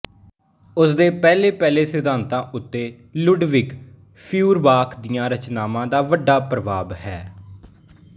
ਉਸ ਦੇ ਪਹਿਲੇ ਪਹਿਲੇ ਸਿਧਾਤਾਂ ਉੱਤੇ ਲੁਡਵਿਗ ਫ਼ਿਊਰਬਾਖ ਦੀਆਂ ਰਚਨਾਵਾਂ ਦਾ ਵੱਡਾ ਪ੍ਰਭਾਵ ਹੈ